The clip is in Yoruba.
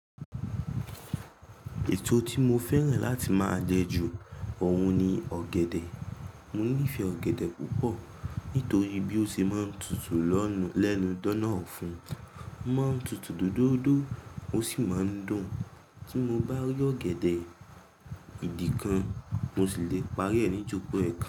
Èsò tí mo fẹ́ràn láti máa jẹ ju ọ̀hun ni ọ̀gẹ̀dẹ̀. Mo nífẹ̀ẹ́ ọ̀gẹ̀dẹ̀ púpọ̀ nítorí bí ó ṣe máa ń tutù lẹ́nu dóná ọ̀fun, ó máa ń tutù dúdúódó ó sì máa ń dùn. Tí mo bá rí ọ̀gẹ̀dẹ̀ ìdí kan, mo sì le parí ẹ̀ ní joko ẹ̀ẹ̀kan.